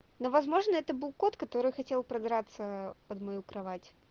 ну возможно это был кот который хотел пробраться под мою кровать